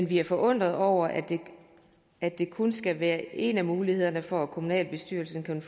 vi er forundrede over at det kun skal være en af mulighederne for at kommunalbestyrelsen kan